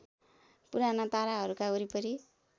पुराना ताराहरूका वरिपरि